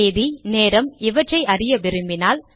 தேதி நேரம் இவற்றை அறிய விரும்பினால்